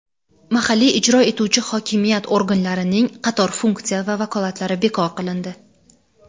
mahalliy ijro etuvchi hokimiyat organlarining qator funksiya va vakolatlari bekor qilindi.